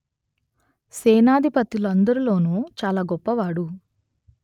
సేనాధిపతులందరిలోనూ చాలా గొప్పవాడు